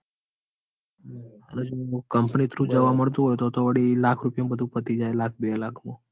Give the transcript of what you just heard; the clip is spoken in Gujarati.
અને સુ company through જવા મળતું હોય તો તો તો વળી લાખ રૂપિયા માં બધું પતિ જાય લાખ બે લાખ માં.